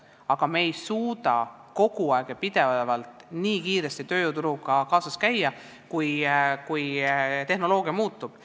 Aga me ei suuda kogu aeg ja pidevalt tööturu vajadustega kaasas käia nii kiiresti, kui tehnoloogia muutub.